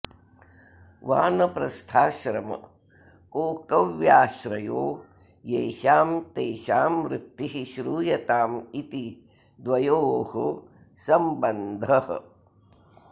वानप्रस्थाश्रम ओक व्याश्रयो येषां तेषां वृत्तिः श्रूयतामिति द्वयोः संबन्धः